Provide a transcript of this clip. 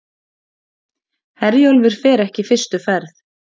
Herjólfur fer ekki fyrstu ferð